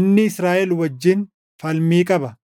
inni Israaʼel wajjin falmii qaba.